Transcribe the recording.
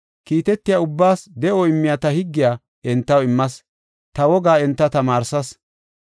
Kiitetiya ubbaas de7o immiya ta higgiya entaw immas; ta wogaa enta tamaarsas.